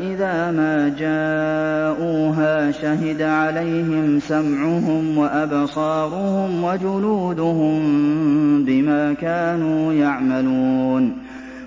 إِذَا مَا جَاءُوهَا شَهِدَ عَلَيْهِمْ سَمْعُهُمْ وَأَبْصَارُهُمْ وَجُلُودُهُم بِمَا كَانُوا يَعْمَلُونَ